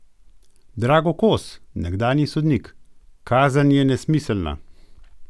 Drago Kos, nekdanji sodnik: "Kazen je nesmiselna.